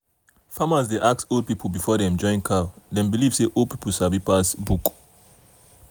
farmers dey ask old people before dem join cow dem believe say old people sabi pass book.